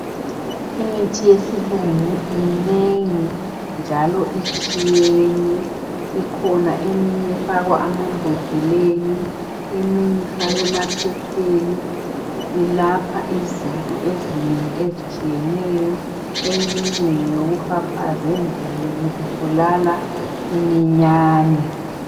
Imithi yesilungu minengi njalo itshiyene ikhona eminye efakwa amambodleleni eminye ifakwa emaphepheni ilapha izinto ezinengi ezitshiyeneyo eminye ngeyokufafaza endlini kubulala iminyane